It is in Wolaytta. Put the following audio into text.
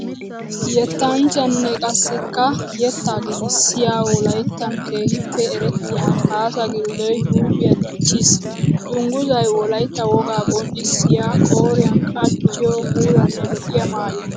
Yettanchchanne qassikka yetta giigissiya wolayttan keehippe erettiya Kaasa Gilddoy huuphiya dichiis. Dungguzay wolaytta wogaa qonccissiya qooriyan qachchiyo puulanne lo'iya maayo.